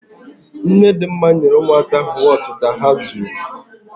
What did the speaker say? Nnedịmma, ụmụaka ahụ wọtu ka ha zụọ.